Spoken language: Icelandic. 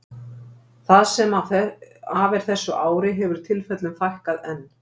það sem af er þessu ári hefur tilfellunum fækkað enn